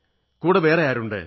കൂടെ വേറെ ആരുണ്ട്